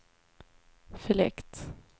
fläkt